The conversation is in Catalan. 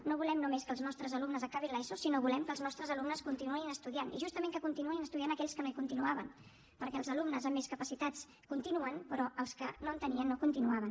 no volem només que els nostres alumnes acabin l’eso sinó que volem que els nostres alumnes continuïn estudiant i justament que continuïn estudiant aquells que no hi continuaven perquè els alumnes amb més capacitats continuen però els que no en tenien no continuaven